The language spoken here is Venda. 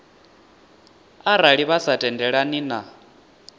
arali vha sa tendelani na